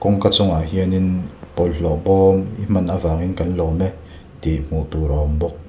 kawngka chungah hianin bawlhhlawh bawm i hman avangin kan lawm e tih hmuh tur a awm bawk.